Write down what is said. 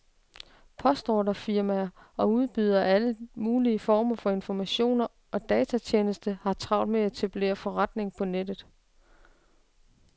Postordrefirmaer og udbydere af alle mulige former for informationer og datatjenester har travlt med at etablere forretninger på nettet.